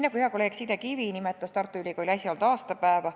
Hea kolleeg Signe Kivi nimetas Tartu Ülikooli äsja olnud aastapäeva.